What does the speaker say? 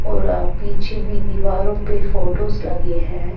.اور ا چھی بھی دورو پی فوٹوز لگے ہیں